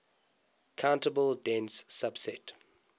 countable dense subset